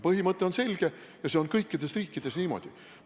Põhimõte on selge ja see on kõikides riikides niimoodi.